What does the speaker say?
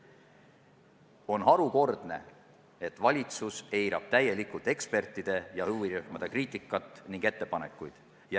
On harukordne, et valitsus eirab täielikult ekspertide ja huvirühmade kriitikat ja ettepanekuid.